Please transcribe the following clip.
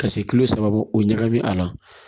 Ka se kilo saba ma o ɲagami a la